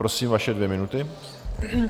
Prosím, vaše dvě minuty.